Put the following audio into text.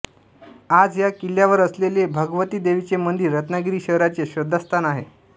आज या किल्ल्यावर असलेले भगवती देवीचे मंदिर रत्नागिरी शहराचे श्रद्धास्थान आहे